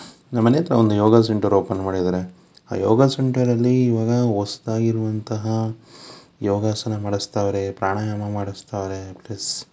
ನಮ್ಮನೆ ಹತ್ರ ಒಂದು ಯೋಗ ಸೆಂಟರ್ ಓಪನ್ ಮಾಡಿದಾರೆ ಆ ಯೋಗ ಸೆಂಟರ್ ಅಲ್ಲಿ ಇವಾಗ ಹೊಸದಾಗಿ ಇರುವಂತಹ ಯೋಗಾಸನ ಮಾಡುಸ್ತಾವರೆ ಪ್ರಾಣಾಯಾಮ ಮಾಡುಸ್ತಾವರೆ ಪ್ಲಸ್ --